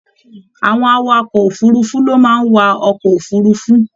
Àwọn awakọ òfurùnfu ló máa n wà ọkọ òfurùnfu.